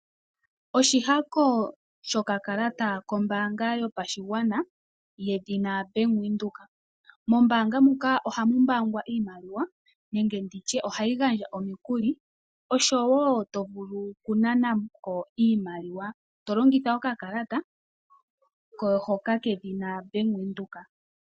Oshihako shokakalata kombanga yopashingwana yedhina Bank Widheok, mombanga muka ohamumbangwa iimaliwa nenge nditye ohayingandja omikuli oshowo tovulu oku nanako iimaliwa tolongitha okakalata hoka kedhina Bank Widheok.